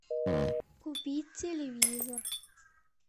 купить телевизор